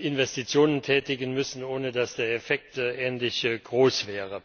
Investitionen tätigen müssen, ohne dass der Effekt ähnlich groß wäre.